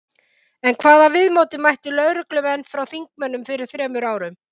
En hvaða viðmóti mættu lögreglumenn frá þingmönnum fyrir þremur árum?